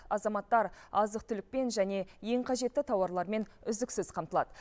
азаматтар азық түлікпен және ең қажетті тауарлармен үздіксіз қамтылады